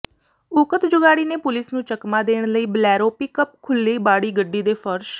ਉਕਤ ਜੁਗਾੜੀ ਨੇ ਪੁਲਿਸ ਨੂੰ ਚਕਮਾ ਦੇਣ ਲਈ ਬਲੈਰੋ ਪਿੱਕਅਪ ਖੁੱਲ੍ਹੀ ਬਾਡੀ ਗੱਡੀ ਦੇ ਫਰਸ਼